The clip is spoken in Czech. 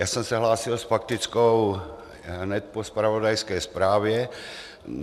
Já jsem se hlásil s faktickou hned po zpravodajské zprávě.